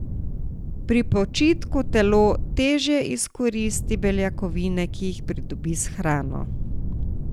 Pri počitku telo teže izkoristi beljakovine, ki jih pridobi s hrano.